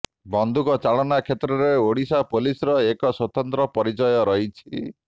ବନ୍ଧୁକ ଚାଳନା କ୍ଷେତ୍ରରେ ଓଡ଼ିଶା ପୋଲିସର ଏକ ସ୍ୱତନ୍ତ୍ର ପରିଚୟ ରହିଛି